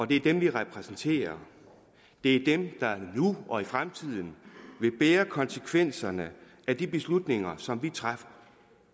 det er dem vi repræsenterer det er dem der nu og i fremtiden vil bære konsekvenserne af de beslutninger som vi træffer